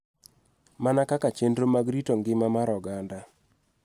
Mana kaka chenro mag rito ngima mar oganda.